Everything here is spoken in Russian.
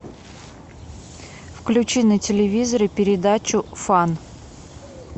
включи на телевизоре передачу фан